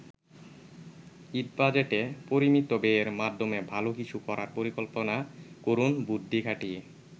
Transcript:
ঈদ বাজেটে পরিমিত ব্যয়ের মাধ্যমে ভালো কিছু করার পরিকল্পনা করুন বুদ্ধি খাটিয়ে।